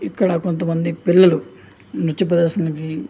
ఇక్కడ కొంత మంది పిల్లలు నృత్యు ప్రదర్శనానికి --